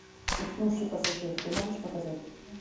уснувший пассажир ты можешь показать